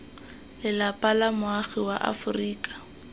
lelapa la moagi wa aforika